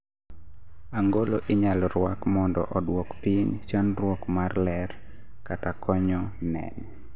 angolo inyalo rwak mondo odwok piny chandruok mar ler kata konyo neno